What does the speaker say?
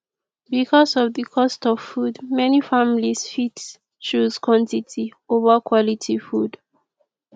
because of di cost of food many families fit choose quantity over quality food